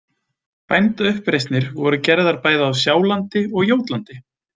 Bændauppreisnir voru gerðar bæði á Sjálandi og Jótlandi.